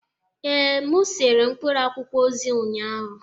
Ee, m sere mkpụrụ akwụkwọ ozi ụnyahụ